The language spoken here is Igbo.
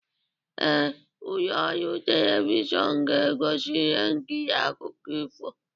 Ee, ụlọ ọrụ telivishọn ga-egosi ihe nkiri akụkọ ifo